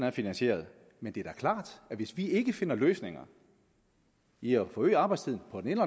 er finansieret men det er da klart at hvis vi ikke finder løsninger i at forøge arbejdstiden på den ene